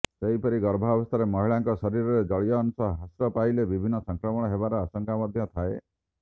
ସେହିପରି ଗର୍ଭାବସ୍ଥାରେ ମହିଳାଙ୍କ ଶରୀରରେ ଜଳୀୟ ଅଂଶ ହ୍ରାସ ପାଇଲେ ବିଭିନ୍ନ ସଂକ୍ରମଣ ହେବାର ଆଶଙ୍କା ମଧ୍ୟ ଥାଏ